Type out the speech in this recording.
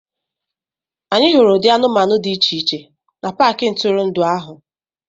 Anyị hụrụ ụdị anụmanụ dị iche iche na paaki ntụrụndụ ahụ.